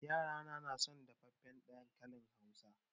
Yarana na son dafaffen dankalin Hausa.